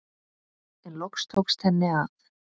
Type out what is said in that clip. En loks tókst henni að.